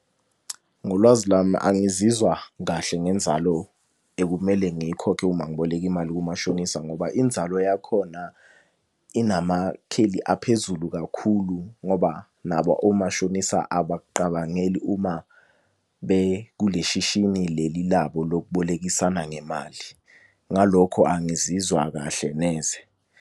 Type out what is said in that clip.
Ngolwazi lami angizizwa kahle ngenzalo ekumele ngiyikhokhe uma ngiboleka imali kumashonisa ngoba inzalo yakhona inamakheli aphezulu kakhulu, ngoba nabo omashonisa abakuqabangeli uma bekule shishini leli labo lokubolekisana ngemali. Ngalokho angizizwa kahle neze.